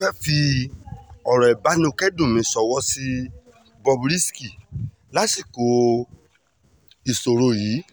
mo fẹ́ẹ́ fi ọ̀rọ̀ ìbánikẹ́dùn mi ṣọwọ́ sí bob risky lásìkò ìṣòro yìí